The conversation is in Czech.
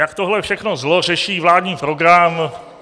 Jak tohle všechno zlo řeší vládní program?